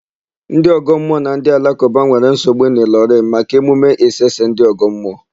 Ndị ọgọmmụọ na ndị alakụba nwere nsogbu n'Ịlọrịn maka emume Isese ndị ọgọmmụọ.